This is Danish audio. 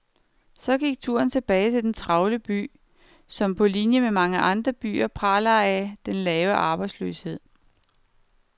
Så gik turen tilbage til den travle by, som på linie med mange andre byer praler af den lave arbejdsløshed.